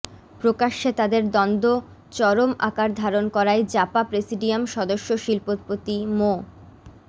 প্রকাশ্যে তাদের দ্বন্দ্ব চরম আকার ধারণ করায় জাপা প্রেসিডিয়াম সদস্য শিল্পপতি মো